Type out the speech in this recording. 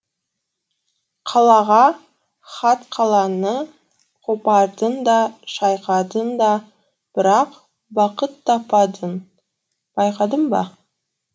қалаға хат қаланы қопардың да шайқадың да бірақ бақыт таппадың байқадың ба